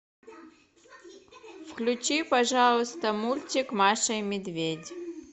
включи пожалуйста мультик маша и медведь